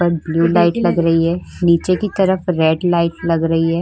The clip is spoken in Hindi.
ऊपर ब्लू लाइट लगी रही है नीचे की तरफ रेड लाइट लग रही हैं।